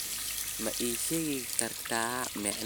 ma ii sheegi kartaa macnaha dhicitaanka weyn ee weelka